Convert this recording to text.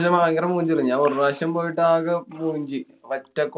ഭയങ്കര മൂഞ്ചില്ലേ. ഞാന്‍ ഒരു പ്രാവശ്യം പോയിട്ടാകെ മൂഞ്ചി. പറ്റെ